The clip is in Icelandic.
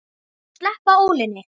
Sleppa ólinni.